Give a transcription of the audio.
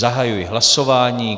Zahajuji hlasování.